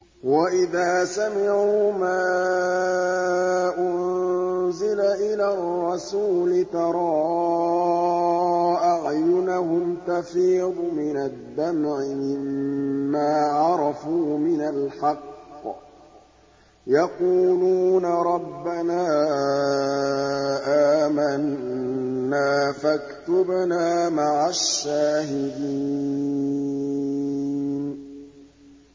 وَإِذَا سَمِعُوا مَا أُنزِلَ إِلَى الرَّسُولِ تَرَىٰ أَعْيُنَهُمْ تَفِيضُ مِنَ الدَّمْعِ مِمَّا عَرَفُوا مِنَ الْحَقِّ ۖ يَقُولُونَ رَبَّنَا آمَنَّا فَاكْتُبْنَا مَعَ الشَّاهِدِينَ